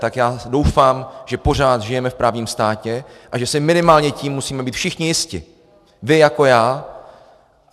Tak já doufám, že pořád žijeme v právním státě a že si minimálně tím musíme být všichni jisti, vy jako já.